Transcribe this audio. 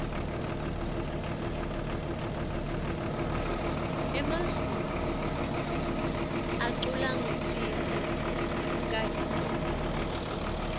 emazulu aculangesintfu kakitulu